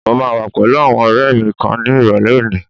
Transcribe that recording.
Mo máa wà pẹ̀lú àwọn ọ̀rẹ́ẹ mi kan ni ìrọ̀lẹ́ òní.